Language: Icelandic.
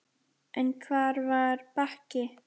En hvar var Bakki?